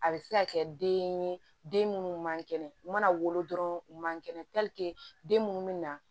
A bɛ se ka kɛ den ye den minnu man kɛnɛ u mana wolo u man kɛnɛ den minnu bɛ na